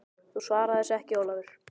Kvenrödd: Þú svarar þessu ekki Ólafur!